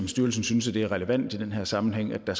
styrelsen synes at det er relevant i den her sammenhæng at der